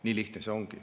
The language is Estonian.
Nii lihtne see ongi.